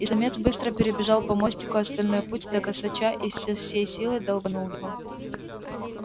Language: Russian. и самец быстро перебежал по мостику остальной путь до косача и со всей силы долбанул его